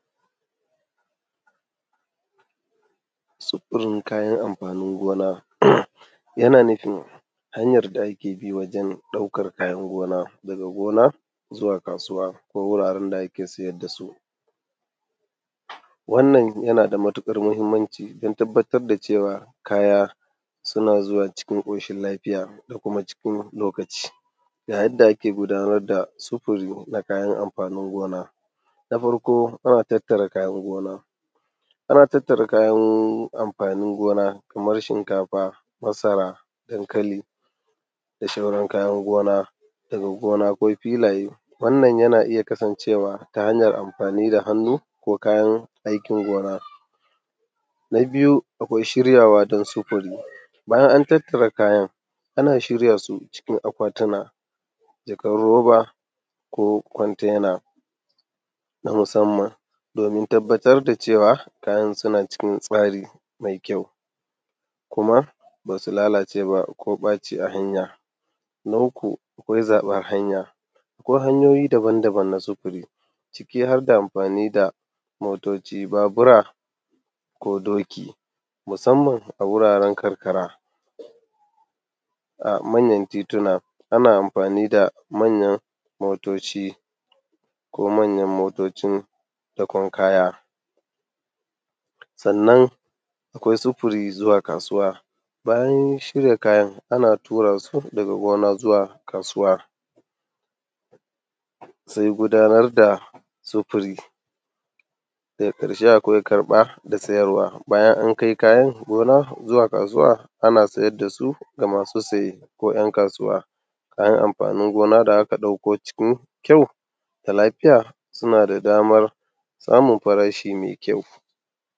Sufurin kayan amfanin gona. Yana nufin hanyar da da akebi wajen ɗaukan amfanin gona daga gona zuwa kasuwa ko wuraren ko wuraren da ake siyar dasu. Wannan yana da matuƙar mahimmanci dan tabbatar da cewa kaya suna zuwa cikin ƙoshin lafiya da kuma cikin lokaci. Yadda ake gudanar da sifuri na amfanin gona. Na farko ana tattara amfanin gona. Ana tattara kayan amfanin gona Kaman shinkafa, masara, dankali da shauran kayan gona daga gona ko filaye, wannan yana kasan cewa ta hanayan amfani da hannu ko kayan amfanin gona. Na biyu akwai shiryawa dan sufuri bayan antattara kaya nana shiryasu cikin akwatuna, jakan roba ko kwantena na musamman domin tabbatar da cewa kayan suna cikin tsari mai kyau kuma basu lalace ba ko ɓaci a hanya. Na uku akwai zaɓen hanya akwai hanyoyi daban daban na sufuri ciki harda amfani da motoci, Babura ko doki musammana wuraren karkara. A manyan tituna ana amfani da manyan motoci ko manyan motocin dakon kaya sannan. Akwai sufuri zuwa kasuwa bayan shirya kayan ana turasu daga gona zuwa kasuwa. Sai gudanar da sufuri. Daga ƙarshe akwai karɓa da sayarwa, bayan an kai kayan gona zuwa kasuwa ana saidasu ga masu saye, ko ‘yan’ kasuwa kayan amfanin gona da aka ɗauko cikin kyau da lafiya sunada dama samun farashi mai kyau.